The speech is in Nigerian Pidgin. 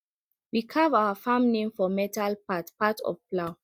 we carve our farm name for metal part part of plow